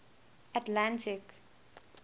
atlantic